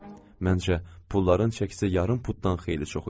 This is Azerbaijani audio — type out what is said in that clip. Məncə, pulların çəkisi yarım putdan xeyli çox idi.